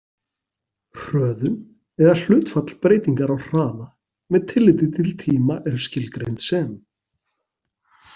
Hröðun, eða hlutfall breytingar á hraða með tilliti til tíma er skilgreind sem.